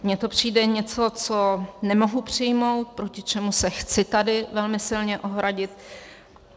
Mně to přijde něco, co nemohu přijmout, proti čemu se chci tady velmi silně ohradit.